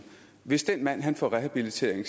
hvis den mand får rehabilitering